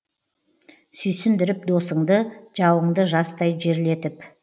сүйсіндіріп досыңды жауыңды жастай жерлетіп